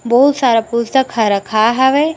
बहुत सारा पुस्तक ह रखाय हवे।